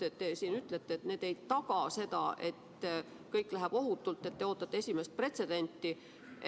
Need muudatused, nagu te just ütlesite, ei taga seda, et kõik läheb ohutult, te ootate esimest pretsedenti.